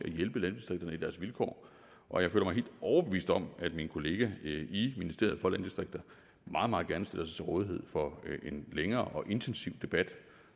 hjælpe landdistrikterne i deres vilkår og jeg føler mig helt overbevist om at min kollega i ministeriet og landdistrikter meget meget gerne stiller sig til rådighed for en længere og intensiv debat